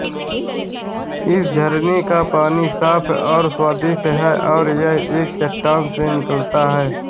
इस झरने का पानी साफ और स्वादिष्ट है और यह एक चट्टान से निकलता है